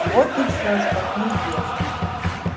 вот и все что мне известно